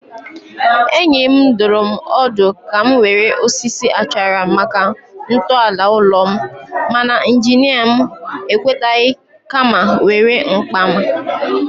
Enyi m dụrụ m ọdụ ka m were osisi achara maka ntọala ụlọ m, mana injinia m ekwetaghị kama were mkpara.